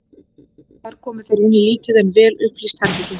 Þar komu þeir inn í lítið en vel upplýst herbergi.